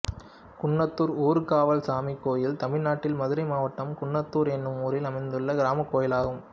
குன்னத்தூர் ஊர்காவல் சாமி கோயில் தமிழ்நாட்டில் மதுரை மாவட்டம் குன்னத்தூர் என்னும் ஊரில் அமைந்துள்ள கிராமக் கோயிலாகும்